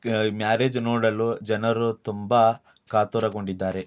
Marriage ನೋಡಲು ಜನರು ತುಂಬಾ ಕಾತುರರಾಗಿದ್ದಾರೆ .